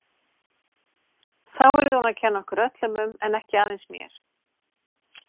Þá yrði hún að kenna okkur öllum um en ekki aðeins mér.